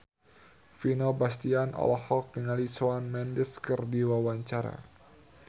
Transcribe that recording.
Vino Bastian olohok ningali Shawn Mendes keur diwawancara